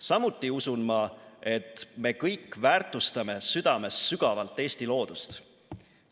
Samuti usun ma, et me kõik väärtustame südames sügavalt Eesti loodust.